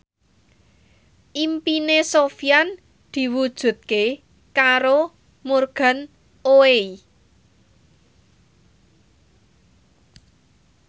impine Sofyan diwujudke karo Morgan Oey